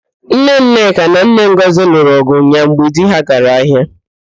Nne Nneka na nne Ngọzị lụrụ ọ̀gụ̀ ụnyaahụ mgbe di ha gara ahịa.